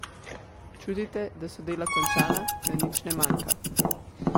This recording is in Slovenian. Čutite, da so dela končana, da nič ne manjka?